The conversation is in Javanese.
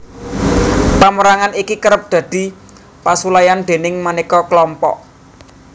Pamérangan iki kerep dadi pasulayan déning manéka klompok